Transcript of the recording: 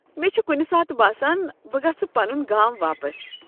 مےٚ چھ کُنہ ساتہٕ باسان بہٕ گژھہٕ پنن گام واپس۔